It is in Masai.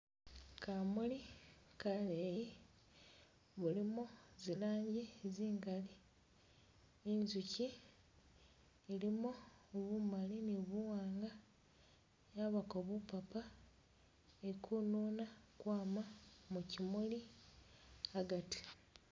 Kamuli kaleyi mulimo zilanji zingali, injukyi ilimo bumali ni buwanga yabako bupapa, ili kununa kwama mu kyimuli agati